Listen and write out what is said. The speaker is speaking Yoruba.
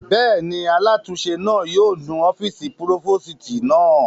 Bẹ́ẹ̀ni, alátúnse náà yóò nu ọ́fìsì púrófòstì náà